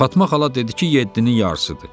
Fatma xala dedi ki, yeddinin yarısıdır.